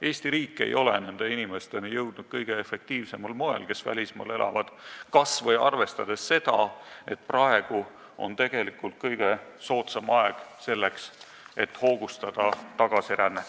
Eesti riik ei ole nende inimesteni, kes välismaal elavad, jõudnud kõige efektiivsemal moel, kas või arvestades seda, et praegu on tegelikult kõige soodsam aeg selleks, et tagasirännet hoogustada.